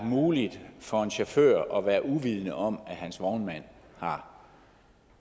muligt for en chauffør at være uvidende om at hans vognmand har